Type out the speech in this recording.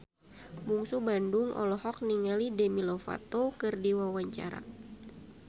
Bungsu Bandung olohok ningali Demi Lovato keur diwawancara